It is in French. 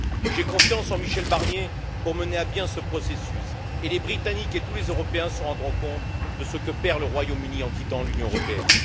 J'ai confiance en Michel Barnier pour mener à bien ce processus, et les Britanniques et tous les Européens se rendront compte de ce que perd le Royaume Uni en quittant l'Union européenne.